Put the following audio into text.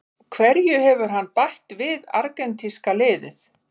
Hverju hefur hann bætt við argentínska liðið?